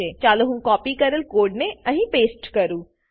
ચાલો હું કોપી કરેલ કોડને અહીં પેસ્ટ કરું